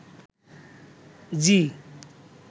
ঝি